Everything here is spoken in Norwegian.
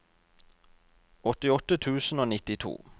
åttiåtte tusen og nittito